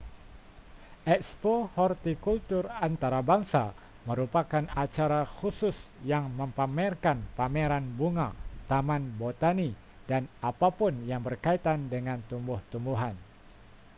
ekspo hortikultur antarabangsa merupakan acara khusus yang mempamerkan pameran bunga taman botani dan apapun yang berkaitan dengan tumbuh-tumbuhan